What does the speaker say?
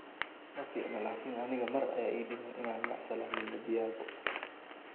Maficno laakin aniga mar aya iidiman ina macasalameyo Diago.